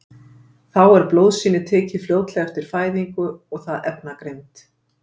þá er blóðsýni tekið fljótlega eftir fæðingu það efnagreint